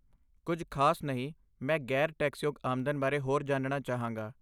ਕੁੱਝ ਖ਼ਾਸ ਨਹੀਂ, ਮੈਂ ਗ਼ੈਰ ਟੈਕਸਯੋਗ ਆਮਦਨ ਬਾਰੇ ਹੋਰ ਜਾਣਣਾ ਚਾਹਾਂਗਾ